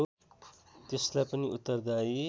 त्यसलाई पनि उत्तरदायी